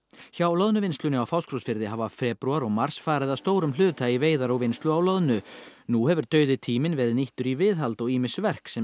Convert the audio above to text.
hjá Loðnuvinnslunni á Fáskrúðsfirði hafa febrúar og mars farið að stórum hluta í veiðar og vinnslu á loðnu nú hefur dauði tíminn verið nýttur í viðhald og ýmis verk sem